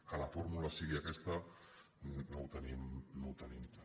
que la fórmula sigui aquesta no ho tenim clar